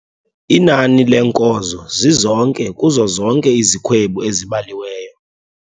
Inani leenkozo zizonke kuzo zonke izikhwebu ezibaliweyo